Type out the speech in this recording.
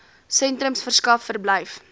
sentrums verskaf verblyf